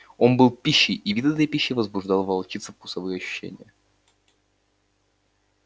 он был пищей и вид этой пищи возбуждал в волчице вкусовые ощущения